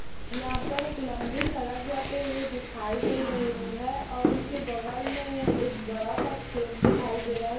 यहाँ पर एक लम्बी सड़क जाती हुई दिखाई दे रही है और उसके बगल में एक बड़ा सा खेत दिखाई दे रहा हैं।